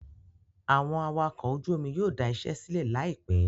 Àwọn awakọ̀ ojú omi yóò dà iṣẹ́ sílẹ̀ láìpẹ́